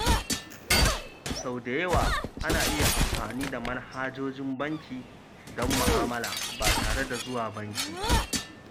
Sau da yawa, ana iya amfani da manhajojin banki don ma'amala ba tare da zuwa banki ba.